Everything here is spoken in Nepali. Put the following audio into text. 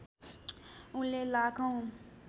उनले लाखौं